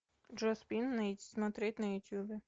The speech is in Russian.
джо спин смотреть на ютубе